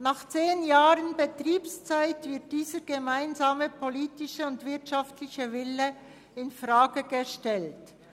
Nach zehn Jahren Betriebszeit wird dieser gemeinsame wirtschaftliche und politische Wille infrage gestellt.